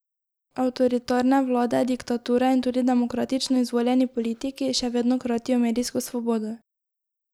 Avtoritarne vlade, diktature in tudi demokratično izvoljeni politiki še vedno kratijo medijsko svobodo.